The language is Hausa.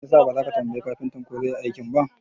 Me yasa baza ka tambayi kafintan ko zai Yi aikin ba?